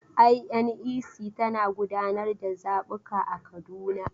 INEC tana gudanar da zabuka a Kaduna.